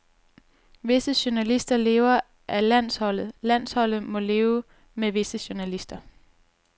Visse journalister lever af landsholdet, landsholdet må leve med visse journalister.